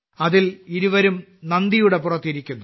അതിൽ ഇരുവരും നന്ദിയുടെ പുറത്ത് ഇരിക്കുന്നു